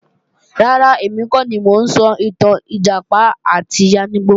Rárá, èmi kọ́ ni mo ń sọ ìtàn Ìjàpá àti Yáníbo